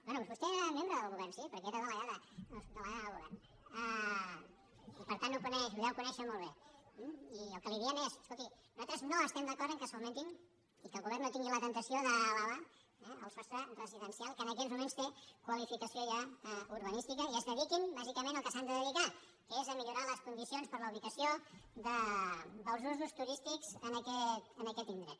bé vostè era membre del govern sí perquè era delegada o subde·legada del govern i per tant ho deu conèixer molt bé eh i el que li diem és escolti nosaltres no estem d’acord que s’augmenti i que el govern no tingui la temptació d’elevar el sostre residencial que en aquests moments té qualificació ja urbanística i es dediquin bàsicament al que s’han de dedicar que és a millorar les condicions per a la ubicació dels usos turístics en aquest indret